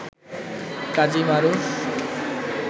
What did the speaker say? Kazi Maruf